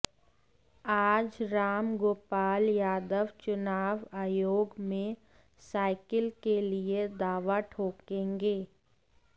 आज रामगोपाल यादव चुनाव आयोग में साइकिल के लिए दावा ठोंकेंगे